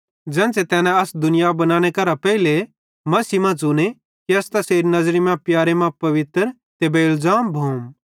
ज़ेन्च़रे तैने अस दुनिया बनानेरे पेइली मसीह मां च़ुने कि अस तैसेरी नज़री मां प्यारे मां पवित्र ते बेइलज़ाम भोम